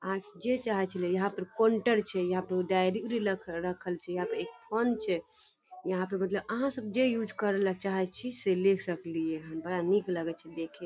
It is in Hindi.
आहाँ के जे चाहे छी ले लय यहां पे कोंटर छै यहां पे डायरी उरी रखल छै यहां पर एक फोन छै यहां पर मतलब आहाँ सब जे युज करे ले चाही छी से ले सकलिहेन बड़ा निक लगे छै देखे --